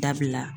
Dabila